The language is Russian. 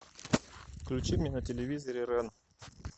включи мне на телевизоре рен